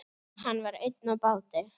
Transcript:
Hann var einn á báti.